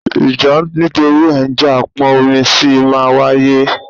Ìjà nítorí ẹ jẹ̀ ń pọn omi sì máa ń wáyé